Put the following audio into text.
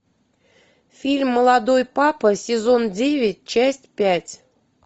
фильм молодой папа сезон девять часть пять